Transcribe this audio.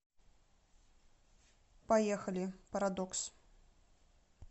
поехали парадокс